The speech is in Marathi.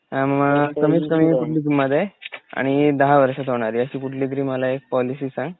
अ म कमीत कमी कीमती मधे आणि दहा वर्षात होणारी अशी कुठलीतरी मला एक पॉलिसी सांग.